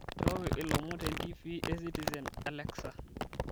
nchooki ilomon tentiifii ecitizen alexa